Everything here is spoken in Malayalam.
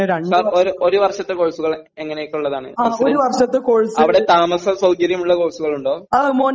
സർ ഒരു വർഷത്തെ കോഴ്സ്കൾ എങ്ങനെയൊക്കെ ഉള്ളതാണ് അവിടെ താമസ സൌകര്യം ഉള്ള കോഴ്സ്കൾ ഉണ്ടോ